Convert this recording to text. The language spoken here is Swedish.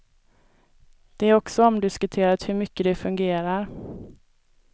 Det är också omdiskuterat hur mycket de fungerar.